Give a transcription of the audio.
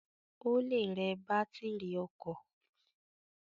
Ó le rẹ bátìrì ọkọ̀.